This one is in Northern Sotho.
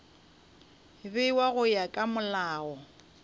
bewa go ya ka molao